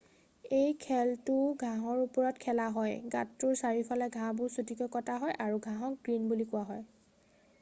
এই খেলটো ঘাঁহৰ ওপৰত খেলা হয় গাঁতটোৰ চাৰিওফালৰ ঘাঁহবোৰ চুটিকৈ কটা হয় আৰু ঘাঁহক গ্ৰীণ বুলি কোৱা হয়